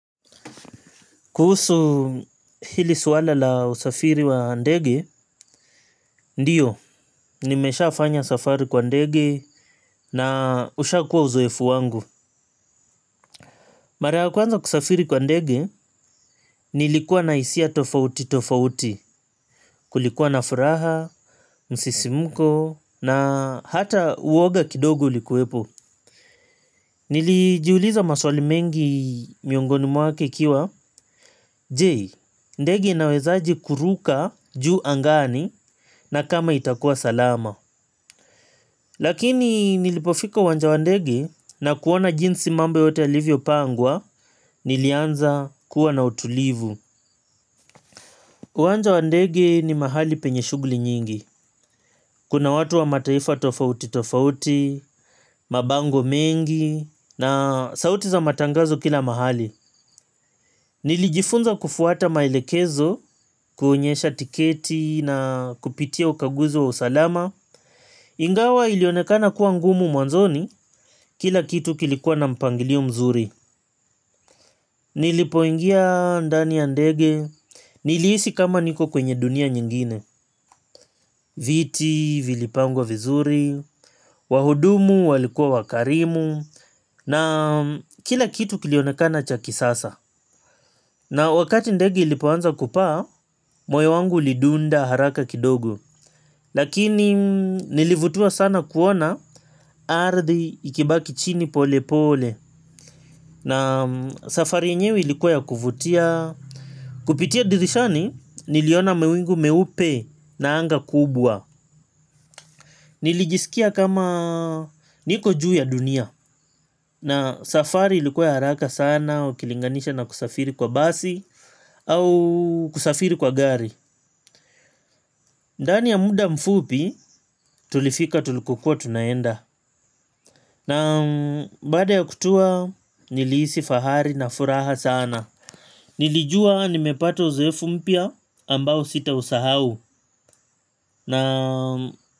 Kuhusu hili suala la usafiri wa ndege, ndiyo, nimeshaafanya safari kwa ndege na ushakuwa uzoefu wangu. Mara ya kwanza kusafiri kwa ndege, nilikuwa na hisia tofauti tofauti, kulikuwa na furaha, msisimko, na hata uoga kidogo ulikuwepo. Nilijiuliza maswali mengi miongoni mwake ikiwa je, ndege inawezaji kuruka juu angani na kama itakuwa salama. Lakini nilipofika uwanja wa ndege na kuona jinsi mambo yote yalivyopangwa. Nilianza kuwa na utulivu. Uwanja wa ndege ni mahali penye shughuli nyingi. Kuna watu wa mataifa tofauti tofauti, mabango mengi na sauti za matangazo kila mahali. Nilijifunza kufuata maelekezo, kuonyesha tiketi na kupitia ukaguzi wa usalama. Ingawa ilionekana kuwa ngumu mwanzoni, kila kitu kilikuwa na mpangilio mzuri. Nilipoingia ndani ya ndege, nilihisi kama niko kwenye dunia nyingine. Viti, vilipangwa vizuri, wahudumu, walikuwa wakarimu na kila kitu kilionekana cha kisasa. Na wakati ndege ilipoanza kupaa moyo wangu ulidunda haraka kidogo. Lakini nilivutiwa sana kuona ardhi ikibaki chini polepole. Na safari yenyewe ilikuwa ya kuvutia. Kupitia dirishani niliona mawingu meupe na anga kubwa. Nilijisikia kama niko juu ya dunia. Na safari ilikuwa ya haraka sana ukilinganisha na kusafiri kwa basi au kusafiri kwa gari. Ndani ya muda mfupi tulifika tulikokuwa tunaenda. Na baada ya kutua nilihisi fahari na furaha sana. Nilijua nimepata uzoefu mpya ambao sitausahau. Na baada ya kutua nilijisi fahari na furaha sana.